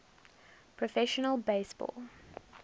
professional base ball